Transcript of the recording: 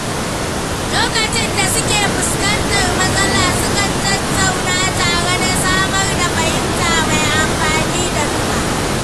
Lokacin da suke fuskantar matsala, sukan tattauna tare da samar da mafita mai amfani ga duka.